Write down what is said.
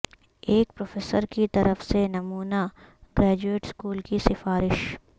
ایک پروفیسر کی طرف سے نمونہ گریجویٹ اسکول کی سفارش